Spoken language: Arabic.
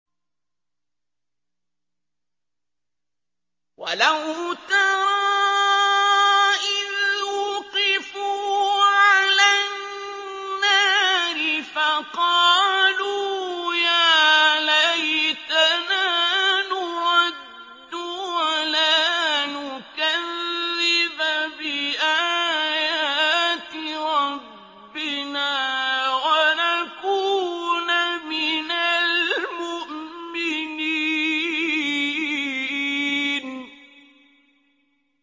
وَلَوْ تَرَىٰ إِذْ وُقِفُوا عَلَى النَّارِ فَقَالُوا يَا لَيْتَنَا نُرَدُّ وَلَا نُكَذِّبَ بِآيَاتِ رَبِّنَا وَنَكُونَ مِنَ الْمُؤْمِنِينَ